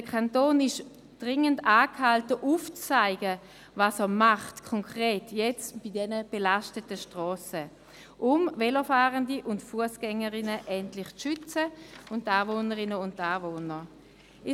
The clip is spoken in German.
Der Kanton ist dringend angehalten, aufzuzeigen, was er jetzt konkret bei diesen belasteten Strassen machen will, um Velofahrerinnen und Velofahrer, Fussgängerinnen und Fussgänger sowie die Anwohnerinnen und Anwohner endlich zu schützen.